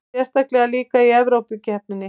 Sérstaklega líka í Evrópukeppninni.